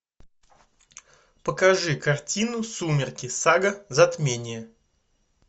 покажи картину сумерки сага затмение